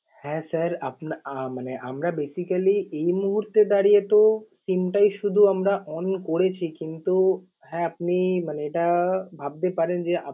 হ্যাঁ sir আপনার আহ মানে আমরা basically এই মুহূর্তে দাঁড়িয়ে তো SIM টাই শুধু আমরা on করেছি কিন্তু হ্যাঁ আপনি মানে এটা ভাবতে পারেন যে আপ~